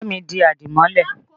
Ba mi di àdìmọ́lẹ̀!